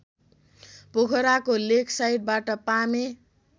पोखराको लेकसाइडबाट पामे